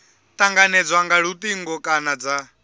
tanganedzwa nga lutingo kana dza